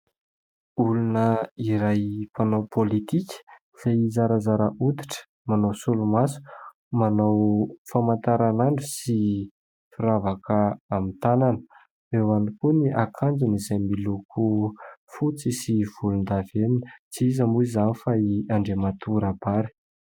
Olona iray mpanao politika izay zarazara hoditra, manao solomaso, manao famantaranandro sy firavaka amin'ny tanana, eo ihany koa ny akanjony izay miloko fotsy sy volondavenona, tsy iza moa izany fa i andriamatoa Rabary.